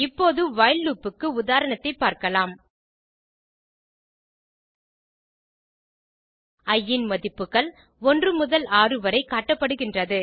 இப்போது while loop க்கு உதாரணத்தை பார்க்கலாம்160 இ இன் மதிப்புகள் 1 முதல் 6 வரை காட்டப்படுகின்றது